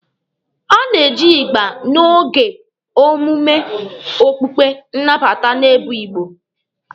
A na-eji ịgba n'oge omume okpukpe nnabata n'ebo Igbo.